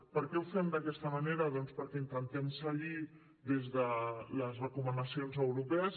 per què ho fem d’aquesta manera doncs perquè intentem seguir des de les recomanacions europees